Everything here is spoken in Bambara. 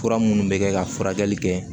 Fura minnu bɛ kɛ ka furakɛli kɛ